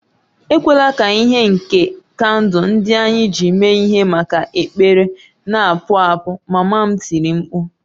Ekwela ka ìhè nke kandụl ndị anyị ji mee ihe maka ekpere na-apụ apụ! Mama m tiri mkpu